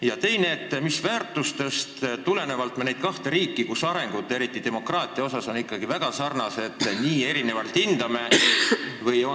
Ja teiseks: mis väärtushinnangutest tulenevalt me neid kahte riiki, kus demokraatia areng on olnud väga sarnane, nii erinevalt hindame?